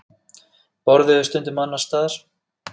Borðuðu stundum annars staðar.